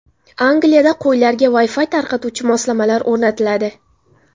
Angliyada qo‘ylarga Wi-Fi tarqatuvchi moslamalar o‘rnatiladi.